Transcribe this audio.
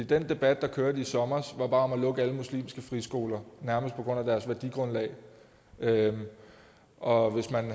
den debat der kørte i sommer var bare om at lukke alle muslimske friskoler nærmest på grund af deres værdigrundlag og hvis mere end